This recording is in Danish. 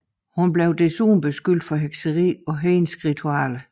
Hun blev desuden beskyldt for hekseri og hedenske ritualer